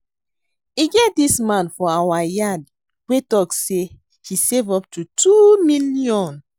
E get dis man for our yard wey talk say he save up to 2 million